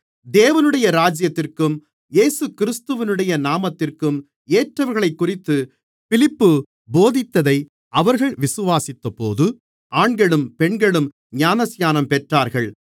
தேவனுடைய இராஜ்யத்திற்கும் இயேசுகிறிஸ்துவினுடைய நாமத்திற்கும் ஏற்றவைகளைக்குறித்து பிலிப்பு போதித்ததை அவர்கள் விசுவாசித்தபோது ஆண்களும் பெண்களும் ஞானஸ்நானம் பெற்றார்கள்